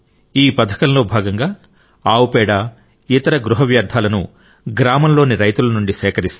ఈ పతాకంలో భాగంగా ఆవు పేడ ఇతర గృహ వ్యర్థాలను గ్రామంలోని రైతుల నుండి సేకరిస్తారు